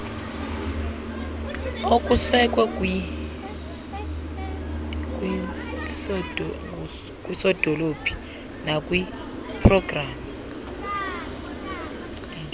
okusekwe kwinsdp nakwipgds